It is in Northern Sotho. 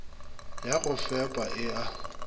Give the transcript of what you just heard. ya go fepa e a